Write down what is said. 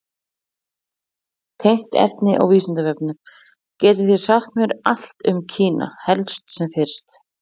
Tengt efni á Vísindavefnum: Getið þið sagt mér allt um Kína, helst sem fyrst?